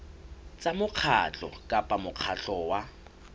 tsa mokgatlo kapa mokgatlo wa